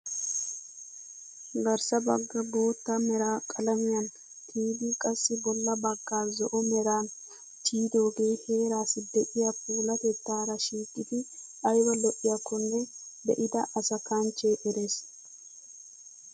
garssa baggaa bootta mera qalamiyaan tiyidi qassi bolla baggaa zo'o meran tiyidoogee heerassi de'iyaa puulatettaara shiiqidi ayba lo"iyaakonne be'ida asa kanchchee erees!